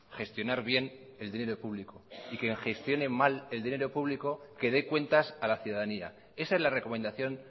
gestionar bien el dinero público y quien gestione mal el dinero público que dé cuentas a la ciudadanía esa es la recomendación